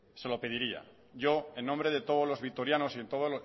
se lo pediría yo en nombre de todos los vitorianos y